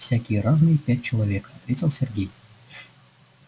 всякие разные пять человек ответил сергей